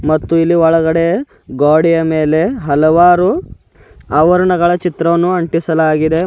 ಮತ್ತು ಇಲ್ಲಿ ಒಳಗಡೆ ಗೋಡೆಯ ಮೇಲೆ ಹಲವಾರು ಅವರಣಗಳ ಚಿತ್ರವನ್ನು ಅಂಟಿಸಲಾಗಿದೆ.